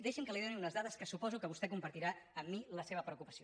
deixi’m que li doni unes dades que suposo que vostè compartirà amb mi la seva preocupació